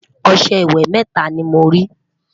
ọsẹ ìwé mẹta ní mọ rí